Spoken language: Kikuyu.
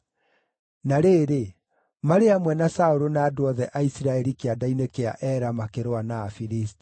Na rĩrĩ, marĩ hamwe na Saũlũ na andũ othe a Isiraeli kĩanda-inĩ kĩa Ela makĩrũa na Afilisti.”